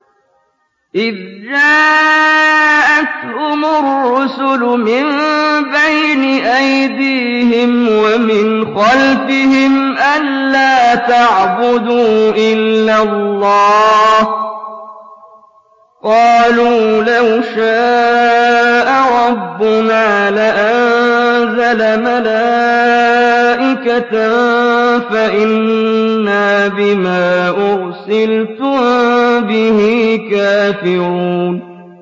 إِذْ جَاءَتْهُمُ الرُّسُلُ مِن بَيْنِ أَيْدِيهِمْ وَمِنْ خَلْفِهِمْ أَلَّا تَعْبُدُوا إِلَّا اللَّهَ ۖ قَالُوا لَوْ شَاءَ رَبُّنَا لَأَنزَلَ مَلَائِكَةً فَإِنَّا بِمَا أُرْسِلْتُم بِهِ كَافِرُونَ